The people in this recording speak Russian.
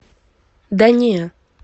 да не